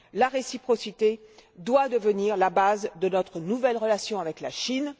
La réciprocité doit devenir la base de notre nouvelle relation avec la Chine.